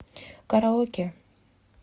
караоке